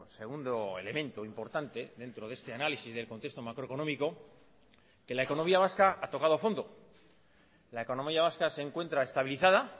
segundo elemento importante dentro de este análisis del contexto macroeconómico que la economía vasca ha tocado fondo la economía vasca se encuentra estabilizada